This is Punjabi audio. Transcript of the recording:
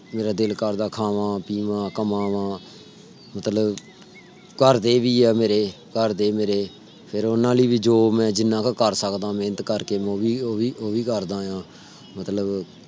ਮੇਰਾ ਦਿਲ ਕਰਦਾ ਖਾਵਾਂ ਪੀਵਾਂ ਕਮਾਵਾਂ ਮਤਲਬ ਘਰ ਦੇ ਵੀ ਆ ਮੇਰੇ ਘਰ ਦੇ ਮੇਰੇ ਫਿਰ ਓਹਨਾ ਲਈ ਵੀ ਜੋ ਮੈਂ ਜਿਨ੍ਹਾਂ ਕੈ । ਕਰ ਸਕਦਾ ਮੇਹਨਤ ਕਰਕੇ ਮੈਂ ਵੀ ਓਹ੍ਹ ਵੀ ਕਰਦਾ ਆ। ਮਤਲਬ